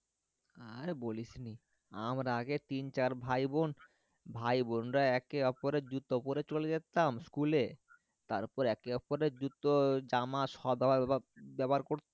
আর বলিস নে আমরা আগে তিন চার ভাই বোন ভাই বোনরা একে ওপরের জুতো পরে চলে যেতাম school এ তার পর একে ওপরে জুতো জামা সব ব্যবহার বা ব্যবহার কর